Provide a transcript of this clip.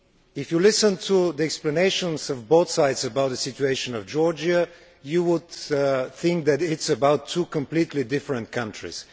If you listen to the explanations from both sides on the situation of Georgia you would think that it is about two completely different countries.